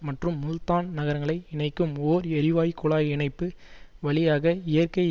மற்றும் முல்தான் நரங்களை இணைக்கும் ஓர் எரிவாயு குழாய் இணைப்பு வழியாக இயற்கை